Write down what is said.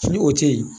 Ni o tɛ yen